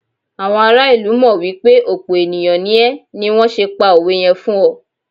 àwọn ará ilu mọ wipe òpe ènìyàn ní é ni wan se pa òwe yẹn fún ọ